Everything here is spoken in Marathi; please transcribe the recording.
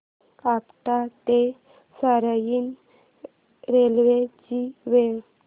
आपटा ते रसायनी रेल्वे ची वेळ